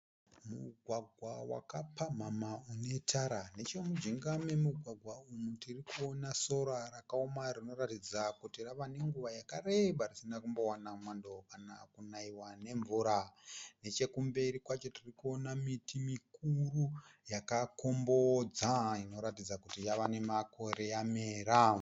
Mugwagwa wakapamhamha une tara. Nechemujinga memugwagwa umu tirikuona sora rakaoma rinoratidza kuti rava nenguva yakareba risina kumbowana mwando kana kunaiwa nemvura. Neche kumberi kwacho tirikuona miti mikuru yakakombodza inoratidza kuti yava nemakore yamera.